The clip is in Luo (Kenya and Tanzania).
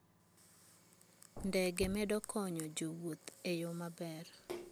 Ndege medo konyo jowuoth e yo maber.